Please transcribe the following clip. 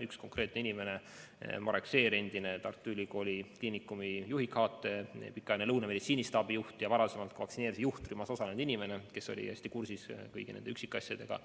Üks konkreetne inimene, Marek Seer, endine Tartu Ülikooli Kliinikumi juhi kohusetäitja, pikaajaline Lõuna meditsiinistaabi juht ja varem vaktsineerimise juhtrühmas osalenud inimene, kes oli hästi kursis kõigi nende üksikasjadega,